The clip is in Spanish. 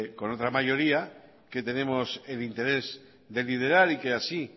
con otra mayoría que tenemos el interés de liderar y que así